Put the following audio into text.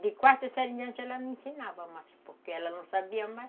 De quarta série em diante ela me ensinava mais, porque ela não sabia mais.